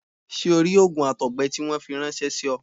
Ṣé o rí òògùn àtọ̀gbẹ tí wọ́n fi ráńṣẹ́ sí ọ?